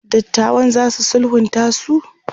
dattawan zasu sulhunta su?